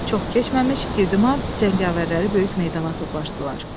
Çox keçməmiş, Girdimar cəngavərləri böyük meydana toplaşdılar.